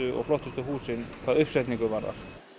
og flottustu húsin hvað uppsetningu varðar